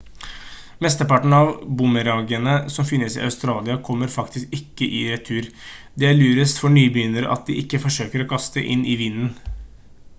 mesteparten av boomerangene som finnes i australia kommer faktisk ikke i retur det er lurest for nybegynnere at de ikke forsøker å kaste inn i vinden